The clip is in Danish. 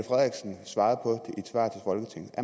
svar på